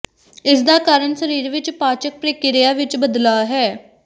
ਇਸਦਾ ਕਾਰਨ ਸਰੀਰ ਵਿੱਚ ਪਾਚਕ ਪ੍ਰਕ੍ਰਿਆ ਵਿੱਚ ਬਦਲਾਅ ਹੈ